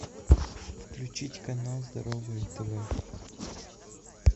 включить канал здоровое тв